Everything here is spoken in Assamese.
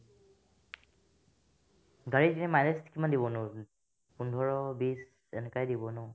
গাড়ীৰ গ'লে mileage কিমান দিবনো পোন্ধৰ বিছ এনেকুৱাই দিব ন ?